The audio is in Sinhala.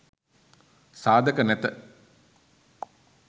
සාධක නැත.